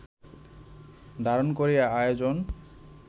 ধারণ করেই আয়োজন